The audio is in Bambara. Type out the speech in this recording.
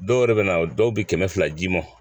Dɔw yɛrɛ bɛ na dɔw bɛ kɛmɛ fila d'i ma